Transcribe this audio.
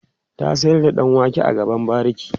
ta sayar da ɗan wake a gaban bariki